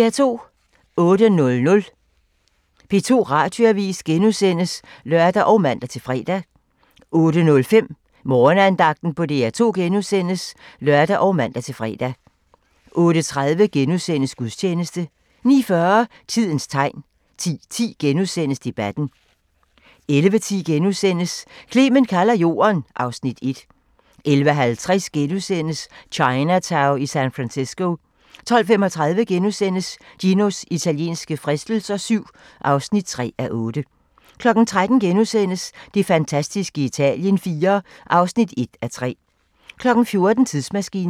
08:00: P2 Radioavis *(lør og man-fre) 08:05: Morgenandagten på DR2 *(lør og man-fre) 08:30: Gudstjeneste * 09:40: Tidens Tegn 10:10: Debatten * 11:10: Clement kalder jorden (Afs. 1)* 11:50: Chinatown i San Francisco * 12:35: Ginos italienske fristelser VII (3:8)* 13:00: Det fantastiske Italien IV (1:3)* 14:00: Tidsmaskinen